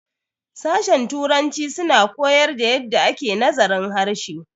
sashen Turanci suna koyar da yadda ake nazarin harshe